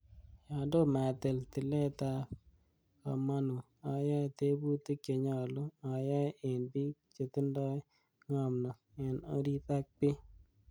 Yon tomo atil tiletab komonut, ayoe tebutik che nyolu ayae en bik chetindoi ngomnot en orit ak bii.